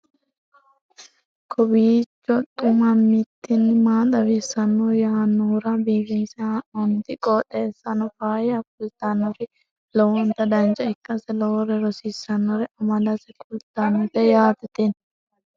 kowiicho xuma mtini maa xawissanno yaannohura biifinse haa'noonniti qooxeessano faayya kultannori lowonta dancha ikkase lowore rosiisannore amadase kultannote yaate tini